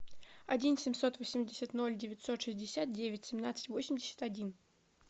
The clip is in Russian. один семьсот восемьдесят ноль девятьсот шестьдесят девять семнадцать восемьдесят один